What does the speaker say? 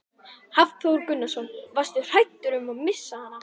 Hafþór Gunnarsson: Varstu hræddur um að missa hana?